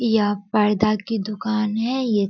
यह पर्दा की दुकान है ये --